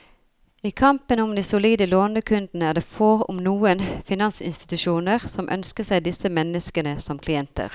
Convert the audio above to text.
I kampen om de solide lånekundene er det få, om noen, finansinstitusjoner som ønsker seg disse menneskene som klienter.